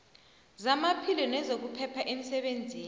zamaphilo nezokuphepha emsebenzini